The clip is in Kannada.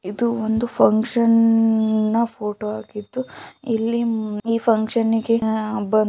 ಇದು ಫುನ್ಕ್ಷನ್ ನ ಫೋಟೋ ಆಗಿದ್ದು ಇಲ್ಲಿ ಈ ಫುನ್ಕ್ಷನ್ನಿ ಗೆ ಬಂದ್